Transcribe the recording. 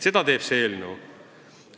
Seda teeb see eelnõu!